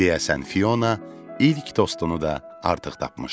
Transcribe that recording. Deyəsən Fiona ilk dostunu da artıq tapmışdı.